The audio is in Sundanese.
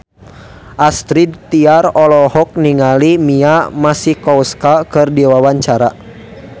Astrid Tiar olohok ningali Mia Masikowska keur diwawancara